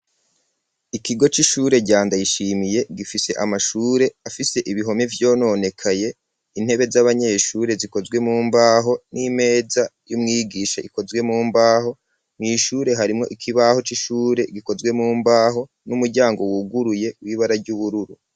Ikigo c'ishure ca ndayishimiye gifise amashure afise ibihome vyononekaye intebe z'abanyeshure zikozwe mu mbaho n'imeza y'umwigisha ikozwe mu mbaho mw'ishure harimwo ikibaho c'ishure gikozwe mu mbaho n'umuryango wuguruye w'ibara ry'ubururu.